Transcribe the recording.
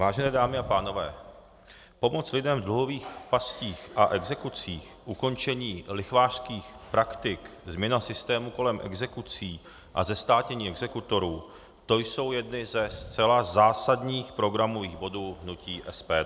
Vážené dámy a pánové, pomoc lidem v dluhových pastích a exekucích, ukončení lichvářských praktik, změna systému kolem exekucí a zestátnění exekutorů, to jsou jedny ze zcela zásadních programových bodů hnutí SPD.